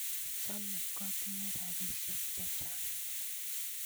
Chame katinye ropisyek che chang'.